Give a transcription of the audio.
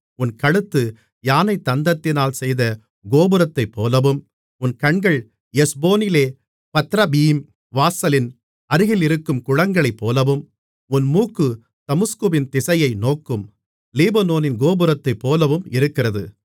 உன் கழுத்து யானைத்தந்தத்தினால் செய்த கோபுரத்தைப்போலவும் உன் கண்கள் எஸ்போனிலே பத்ரபீம் வாசலின் அருகிலிருக்கும் குளங்களைப்போலவும் உன் மூக்கு தமஸ்குவின் திசையை நோக்கும் லீபனோனின் கோபுரத்தைப்போலவும் இருக்கிறது